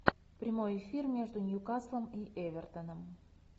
прямой эфир между ньюкаслом и эвертоном